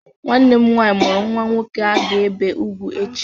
Nwanne m nwanyị mụrụ nnwa nwoke a ga-ebe ugwu echi.